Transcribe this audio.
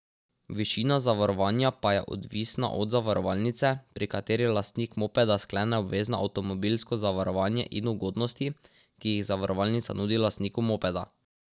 Višina zavarovanja pa je odvisna od zavarovalnice, pri kateri lastnik mopeda sklene obvezno avtomobilsko zavarovanje in ugodnosti, ki jih zavarovalnica nudi lastniku mopeda.